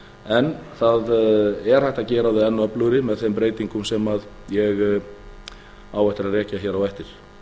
en það er hægt að gera þau enn öflugri með þeim breytingum sem ég á eftir að rekja hér á eftir rekstur og